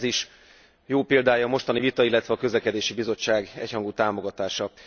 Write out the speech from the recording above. Ez is jó példája a mostani vita illetve a Közlekedési Bizottság egyhangú támogatása.